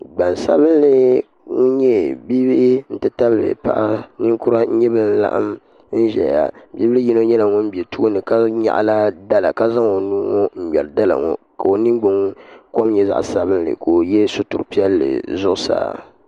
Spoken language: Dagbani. Gbansabinli bin nyɛ bia bihi n ti tabili paɣa ninkura n nyɛ bin laɣam n ʒɛya bihi ŋo yino nyɛla ŋun bɛ tooni ka nyaɣala dala ka zaŋ o nuhi ŋo n ŋmɛri dala ŋo ka o ningbuni kom nyɛ zaɣ sabinli ka o yɛ sitiri piɛlli zuɣusaa